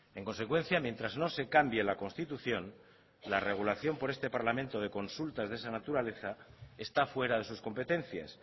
en consecuencia mientras no se cambie la constitución la regulación por este parlamento de consultas de esa naturaleza está fuera de sus competencias